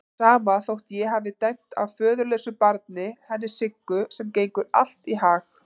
Sama þótt ég hafi dæmi af föðurlausu barni, henni Siggu, sem gengur allt í hag.